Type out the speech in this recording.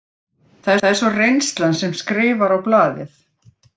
Það er svo reynslan sem skrifar á blaðið.